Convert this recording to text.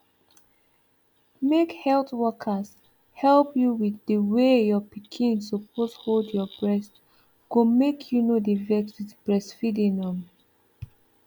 make health workers help you with the way your pikin suppose hold your breast go make you no dey vex with breastfeeding um